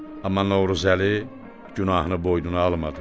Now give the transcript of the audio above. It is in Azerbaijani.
Amma Novruzəli günahını boynuna almadı.